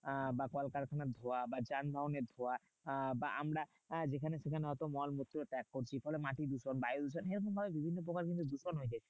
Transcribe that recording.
আহ বা কলকারখানার ধোঁয়া বা যানবাহনের ধোঁয়া বা আমরা যেখানে সেখানে অত মলমূত্র ত্যাগ করছি ফলে মাটি দূষণ বায়ু দূষণ। এরকম ভাবে ভিবিন্ন প্রকার কিন্তু দূষণ হয়ে যাচ্ছে।